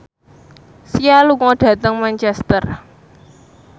Sia lunga dhateng Manchester